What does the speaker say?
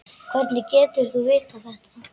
Hvernig getur þú vitað þetta?